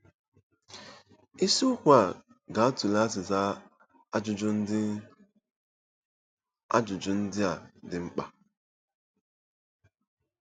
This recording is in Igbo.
Isiokwu a ga-atụle azịza ajụjụ ndị ajụjụ ndị a dị mkpa.